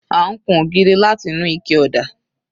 À ń kun ògiri láti inú ike ọ̀dà